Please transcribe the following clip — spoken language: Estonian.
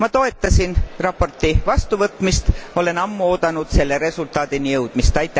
Ma toetasin raporti vastuvõtmist, olen ammu oodanud selle resultaadini jõudmist.